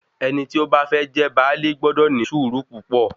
Ẹni tí ó bá fẹ́ jẹ baálé gbọdọ̀ ní sùúrù púpọ̀